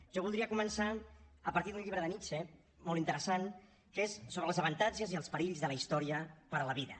jo voldria començar a partir d’un llibre de nietzsche molt interessant que és sobre els avantatges i els perills de la història per a la vida